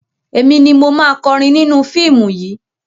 Èmi ni mo máa kọrin nínú fíìmù yìí.